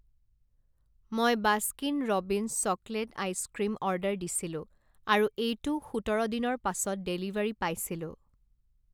মই Baskin Robbins chocolate ice cream order দিছিলোঁ আৰু এইটো সোতৰ দিনৰ পাছত ডেলিভাৰী পাইছিলোঁ।